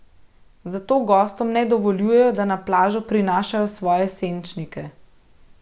Zato gostom ne dovoljujejo, da na plažo prinašajo svoje senčnike.